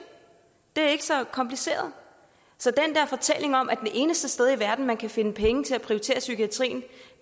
det er ikke så kompliceret så den der fortælling om at det eneste sted i verden man kan finde penge til at prioritere psykiatrien